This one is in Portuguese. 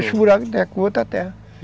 Fecha o buraco de novo com a outra terra.